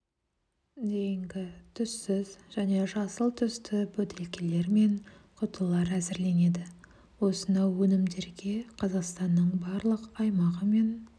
дейінгі түссіз және жасыл түсті бөтелкелер мен құтылар әзірленеді осынау өнімдерге қазақстанның барлық аймағы мен